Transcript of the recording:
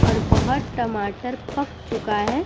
और बोहत टमाटर पक चूका है।